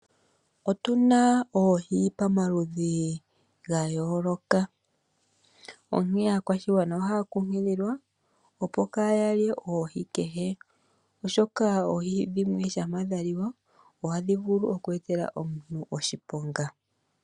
Otu na oohi pamaludhi ga yooloka, onkene aakwashigwana ohaya kunkililwa opo kaa ya lye oohi kehe, oshoka oohi dhimwe shampa dha liwa ohadhi vulu oku etela omuntu oshiponga.